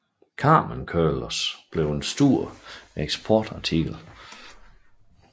Carmen Curlers blev en stor eksportartikel